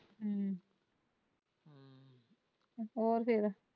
ਹਮ ਹੋਰ ਫੇਰ।